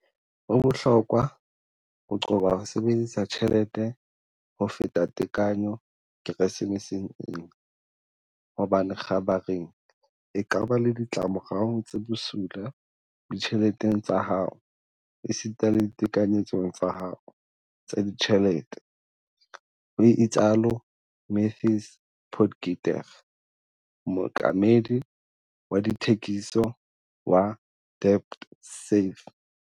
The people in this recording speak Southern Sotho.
"Ho bohlokwa ho qoba ho sebedisa tjhelete ho feta tekanyo Keresemeseng ena, hobane kgabareng e ka ba le ditla morao tse bosula ditjheleteng tsa hao esita le ditekanyetsong tsa hao tsa ditjhelete," ho itsalo Matthys Potgieter, mookamedi wa dithekiso wa DebtSafe.